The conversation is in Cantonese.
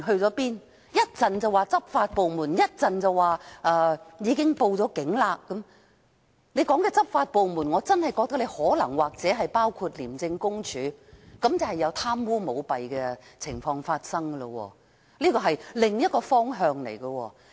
港鐵公司一時提及執法部門，一時又說已經報警，所說的執法部門，我認為可能真的包括廉政公署，即可能有貪污舞弊的情況發生，這是另一個方向。